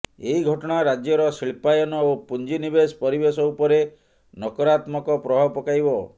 ଏହି ଘଟଣା ରାଜ୍ୟର ଶିଳ୍ପାୟନ ଓ ପୁଞ୍ଜି ନିବେଶ ପରିବେଶ ଉପରେ ନକାରାତ୍ମକ ପ୍ରଭାବ ପକାଇବ